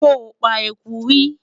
sho pa ẹkú rí?